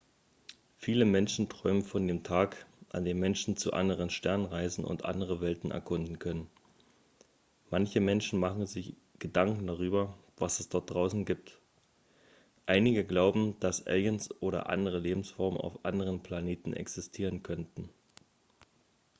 viele menschen träumen von dem tag an dem menschen zu anderen sternen reisen und andere welten erkunden können manche menschen machen sich gedanken darüber was es dort draußen gibt einige glauben dass aliens oder andere lebensformen auf anderen planeten existieren könnten